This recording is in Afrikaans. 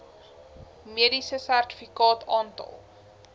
mediese sertifikaat aantal